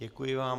Děkuji vám.